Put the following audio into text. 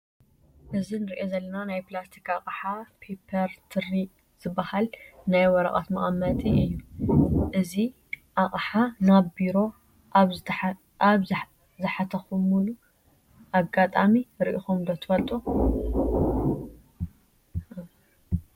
እዚ ንሪኦ ዘለና ናይ ፕላስቲክ ኣቕሓ ፔፐር ትሪ ዝበሃል ናይ ወረቐት መቐመጢ እዩ፡፡ እዚ ኣቕሓ ናብ ቢሮ ኣብ ዝሓተኹሙሉ ኣጋጣሚ ርኢኹሞ ዶ ትፈልጡ?